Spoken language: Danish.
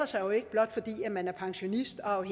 sig jo ikke blot fordi man er pensionist og